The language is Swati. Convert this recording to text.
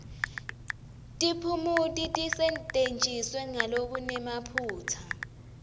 tiphumuti tisetjentiswe ngalokunemaphutsa